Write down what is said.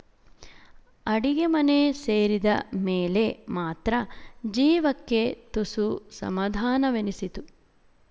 ಅಡಿಗೆಮನೆ ಸೇರಿದ ಮೇಲೆ ಮಾತ್ರ ಜೀವಕ್ಕೆ ತುಸು ಸಮಾಧಾನವೆನಿಸಿತು